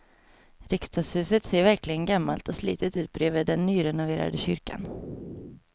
Riksdagshuset ser verkligen gammalt och slitet ut bredvid den nyrenoverade kyrkan.